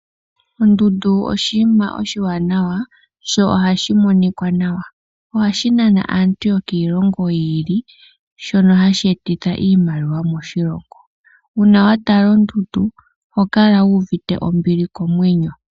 Ondundu oshinima oshiwanawa sho ohashi monika nawa. Ohashi nana aantu yokiilongo yi ili shono hashi etitha iimaliwa moshilongo, uuna watala ondundu oho kala wu uvite ombili komwenyo.